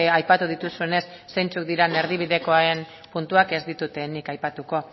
aipatu dituzuenez zeintzuk diren erdibidekoen puntuak ez ditut nik aipatuko